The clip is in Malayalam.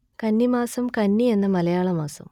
കന്നി മാസം കന്നി എന്ന മലയാള മാസം